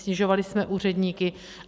Snižovali jsme úředníky.